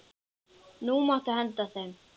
Nú máttu henda þeim.